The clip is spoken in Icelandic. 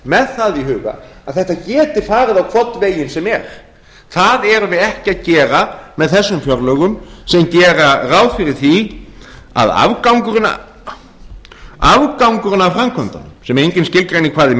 með það í huga að þetta geti farið á hvorn veginn sem er það erum við ekki að gera með þessum fjárlögum sem gera ráð fyrir því að afgangurinn af framkvæmdunum afgangurinn af framkvæmdunum sem engin skilgreinir hvað er